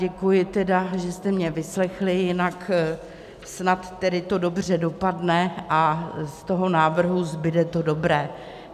Děkuji tedy, že jste mě vyslechli, jinak snad to dobře dopadne a z toho návrhu zbude to dobré.